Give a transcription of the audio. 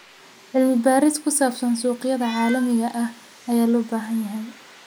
Cilmi baaris ku saabsan suuqyada caalamiga ah ayaa loo baahan yahay.